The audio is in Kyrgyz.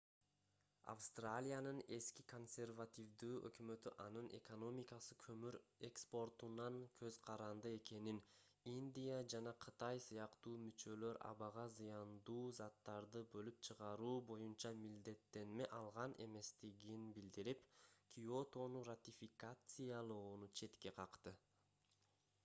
австралиянын эски консервативдүү өкмөтү анын экономикасы көмүр экспортунан көз каранды экенин индия жана кытай сыяктуу мүчөлөр абага зыяндуу заттарды бөлүп чыгаруу боюнча милдеттенме алган эместигин билдирип киотону ратификациялоону четке какты